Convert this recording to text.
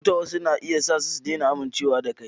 Cuta wasu na iya sa su daina amincewa da kai.